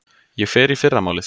Ég fer í fyrramálið.